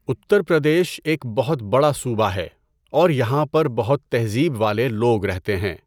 اتّر پردیش ایک بہت بڑا صوبہ ہے اور یہاں پر بہت تہذیب والے لوگ رہتے ہیں۔